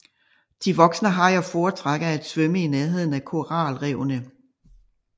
De voksne hajer foretrækker at svømme i nærheden af koralrevene